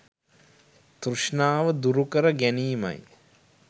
තෘෂ්ණාව දුරුකර ගැනීමයි.